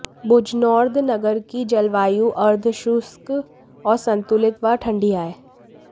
Bojnord नगर की जलवायु अर्धशुष्क और संतुलित व ठंडी है